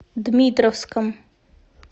дмитровском